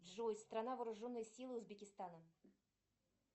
джой страна вооруженные силы узбекистана